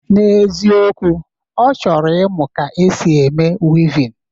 N'eziokwu, ọ chọrọ ịmụ ka esi eme wivin